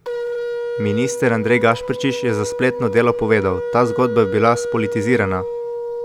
Minister Andrej Gašperšič je za spletno Delo povedal: "Ta zgodba je bila spolitizirana.